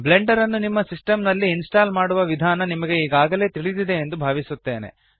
Blender ನ್ನು ನಿಮ್ಮ system ನಲ್ಲಿ ಇನ್ಸ್ಟಾಲ್ ಮಾಡುವ ವಿಧಾನ ನಿಮಗೆ ಈಗಾಗಲೆ ತಿಳಿದಿದೆ ಎಂದು ಭಾವಿಸುತ್ತೇನೆ